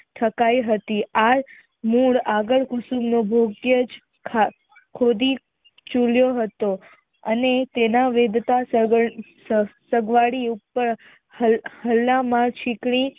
હતી આજ મૂળ આગળ કુસુમ યોગ્ય જ ખોદી ચુંડયો હતો અને તેના વેદતા ચીતરી